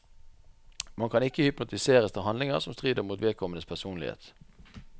Man kan ikke hypnotiseres til handlinger som strider mot vedkommendes personlighet.